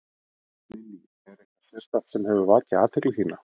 Lillý: Er eitthvað sérstakt sem hefur vakið athygli þína?